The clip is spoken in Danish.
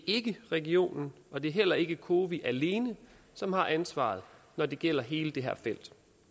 ikke regionen og det er heller ikke cowi alene som har ansvaret når det gælder hele det her felt